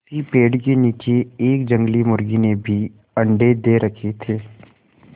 उसी पेड़ के नीचे एक जंगली मुर्गी ने भी अंडे दे रखें थे